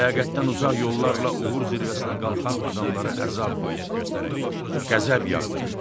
Ləyaqətdən uzaq yollarla uğur zirvəsinə qalxan adamlara əzab, qəzəb yağdırırdı.